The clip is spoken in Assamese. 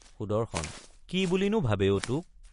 সুদৰ্শন—কি বুলি নো ভাবে অ তোক?